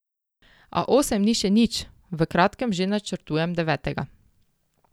A osem ni še nič, v kratkem že načrtujem devetega.